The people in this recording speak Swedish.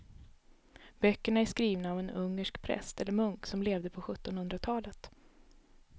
Böckerna är skrivna av en ungersk präst eller munk som levde på sjuttonhundratalet.